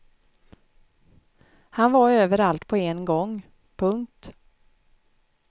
Han var överallt på en gång. punkt